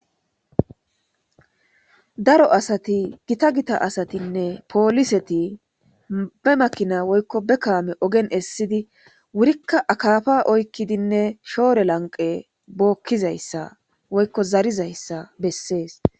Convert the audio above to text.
Daro asti gittagitta asati polliset be Makina Woyko Be KAme oge Esidi wurika akapa oykidi shore lanqe Bokizaysa Woyko zarizaysa Beses